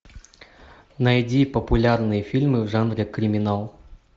найди популярные фильмы в жанре криминал